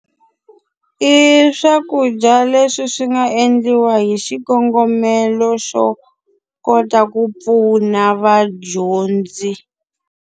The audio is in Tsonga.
I swakudya leswi swi nga endliwa hi xikongomelo xo kota ku pfuna vadyondzi.